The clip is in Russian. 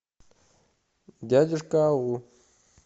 дядюшка ау